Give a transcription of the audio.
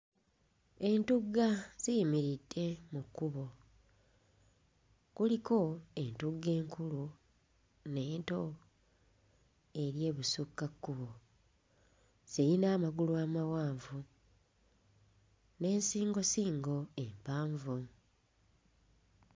Entugga ziyimiridde mu kkubo, kuliko entugga enkulu n'ento eri ebusukkakkubo. Ziyina amagulu amawanvu n'ensingosingo empanvu.